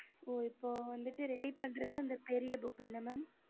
இப்போ வந்து redey பண்ணது பெரிய book